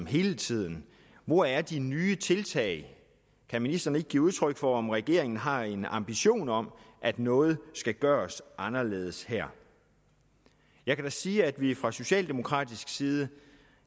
hele tiden hvor er de nye tiltag kan ministeren ikke give udtryk for om regeringen har en ambition om at noget skal gøres anderledes her jeg kan da sige at vi fra socialdemokratisk side